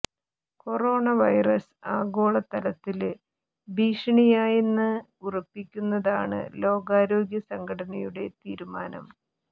corona virus ആഗോള തലത്തില് ഭീഷണിയായെന്ന് ഉറപ്പിക്കുന്നതാണ് ലോകാരോഗ്യ സംഘടനയുടെ തീരുമാനം